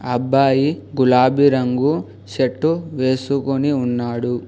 అబ్బాయి గులాబీ రంగు షర్టు వేసుకొని ఉన్నాడు.